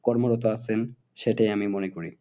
কর্মরত আছেন সেটাই আমি মনে করি।